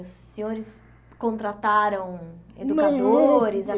Os senhores contrataram educadores